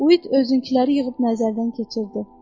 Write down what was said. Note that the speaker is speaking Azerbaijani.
Uid özünküləri yığıb nəzərdən keçirdi.